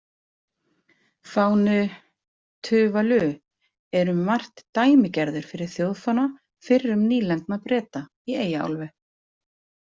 Fáni Tuvalu er um margt dæmigerður fyrir þjóðfána fyrrum nýlendna Breta í Eyjaálfu.